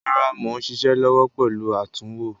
Rárá mò ń ṣiṣẹ́ lọ́wọ́ pẹ̀lú àtúnwò.